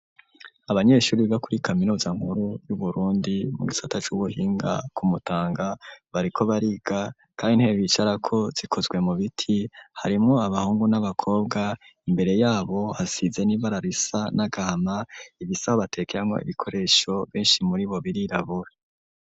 Abanyeshuri biga kuri kaminuza nkuru y'Uburundi, mu gisata c'ubuhinga ku Mutanga, bariko bariga kandi intebe bicarako zikozwe mu biti; harimwo abahungu n'abakobwa, imbere y'abo hasize n'ibara risa n'agahama, ibisaho batekeramwo ibikoresho benshi muri bo birirabura.